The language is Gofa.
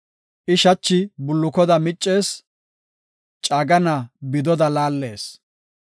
I shachi bullukoda miccees; caagana bidoda laallees.